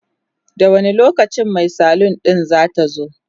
da wani lokacin Mai salun din zatazo?